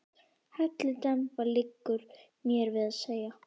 Hellidemba, liggur mér við að segja.